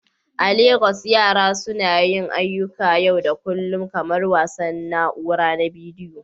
A Legas, yara suna yin ayyukan yau da kullun kamar wasan na'ura na bidiyo.